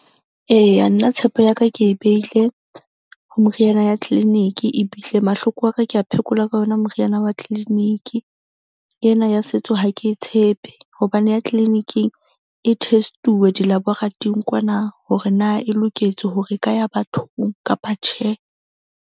Eya, nna tshepo ya ka ke e behile ho meriana ya clinic-i ebile mahloko a ka ke a phekola ka yona meriana ya clinic-i. Ena ya setso ha ke tshepe hobane ya clinic-ing e test-uwe dilaborathoring kwana, hore na e loketswe hore e ka ya bathong kapa tjhe.